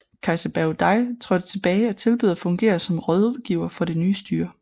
Kejser Bao Dai trådte tilbage og tilbød at fungere som rådgiver for det nye styre